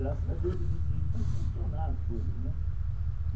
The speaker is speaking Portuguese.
Graças a Deus existe isso para impulsionar as coisas né.